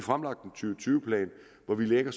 tyve plan hvor vi lægger